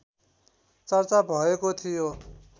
चर्चा भएको थियो